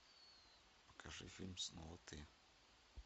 покажи фильм снова ты